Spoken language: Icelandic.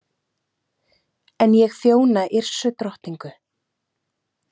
En ég þjóna Yrsu drottningu.